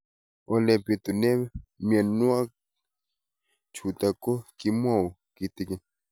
Ole pitune mionwek chutok ko kimwau kitig'�n